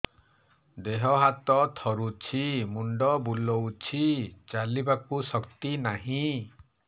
ଦେହ ହାତ ଥରୁଛି ମୁଣ୍ଡ ବୁଲଉଛି ଚାଲିବାକୁ ଶକ୍ତି ନାହିଁ